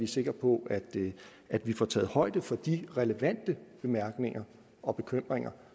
sikre på at vi får taget højde for de relevante bemærkninger og bekymringer